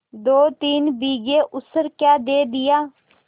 दोतीन बीघे ऊसर क्या दे दिया